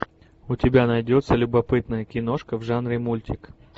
у тебя найдется любопытная киношка в жанре мультик